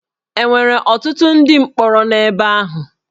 E nwere ọtụtụ ndị mkpọrọ n'ebe ahụ?